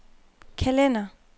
kalender